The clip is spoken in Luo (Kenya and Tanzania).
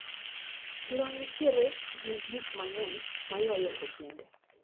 Chiro nitiere gi gikmang`eny maywayo ojende.